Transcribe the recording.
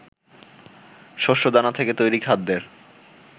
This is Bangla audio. শস্যদানা থেকে তৈরি খাদ্যের